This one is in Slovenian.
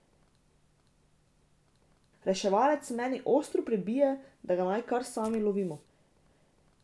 Reševalec meni ostro pribije, da ga naj kar sami lovimo.